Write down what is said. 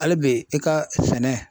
Hali bi i ka sɛnɛ